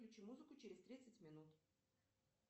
включи музыку через тридцать минут